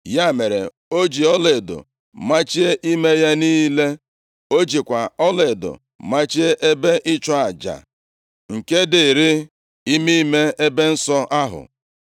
Ya mere, o ji ọlaedo machie ime ya niile. O jikwa ọlaedo machie ebe ịchụ aja nke dịịrị ime ime ebe nsọ ahụ.